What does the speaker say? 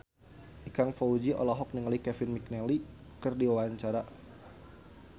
Ikang Fawzi olohok ningali Kevin McNally keur diwawancara